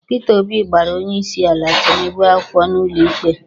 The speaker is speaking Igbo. Peter Obi gbara onyeisiala Tinubu akwụkwọ n'ụlọikpe